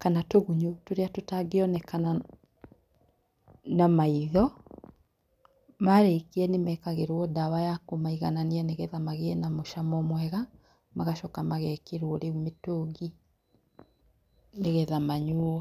kana tũgunyũ tũrĩa tũtangionekana na maitho, marĩkia nĩmekagĩrwo ndawa ya kũmaiganani nĩguo magĩe na mũcamo mwega, magacoka magekĩrwo rĩu mĩtũngi nigetha manyuo.